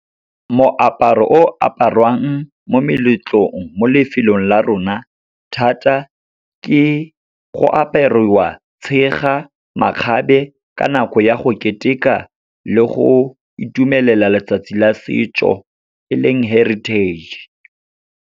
Moaparo o aparwang mo meletlong, mo lefelong la rona thata, ke go apariwa tshega, makgabe, ka nako ya go keteka le go itumelela letsatsi la setso e leng heritage.